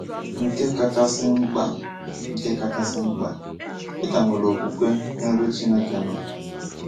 Nke kachasị mkpa Nke kachasị mkpa, ị ka nwere okwukwe n’ebe Chineke nọ.